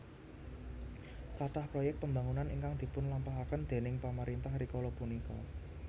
Kathah proyek pembangunan ingkang dipun lampahaken déning pemerintah rikala punika